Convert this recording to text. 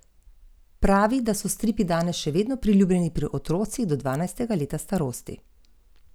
Nato pride na vrsto dozirna posoda.